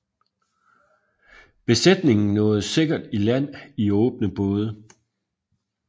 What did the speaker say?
Besætningen nåede sikkert i land i åbne både